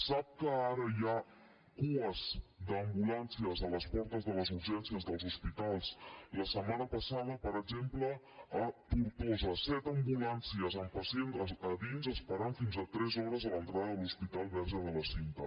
sap que ara hi ha cues d’ambulàncies a les portes de les urgències dels hospitals la setmana passada per exemple a tortosa set ambulàncies amb pacients a dins esperant fins a tres hores a l’entrada de l’hospital verge de la cinta